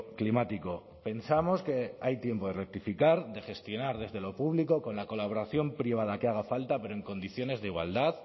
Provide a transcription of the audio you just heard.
climático pensamos que hay tiempo de rectificar de gestionar desde lo público con la colaboración privada que haga falta pero en condiciones de igualdad